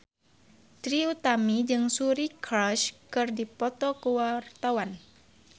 Trie Utami jeung Suri Cruise keur dipoto ku wartawan